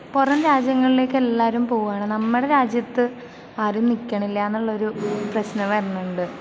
പുറം രാജ്യങ്ങളിലേക്ക് എല്ലാരും പോകുവാണ്, നമ്മടെ രാജ്യത്ത് ആരും നിക്കണില്ല ന്നൊരു പ്രശ്നം വരുന്നുണ്ട്.